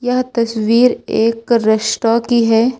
यह तस्वीर एक रेस्टो की है।